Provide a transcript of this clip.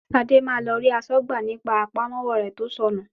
Ṣadé máa lọ rí aṣọ́gbà ní pa àpamọ́wọ́ rẹ tó sọ nù.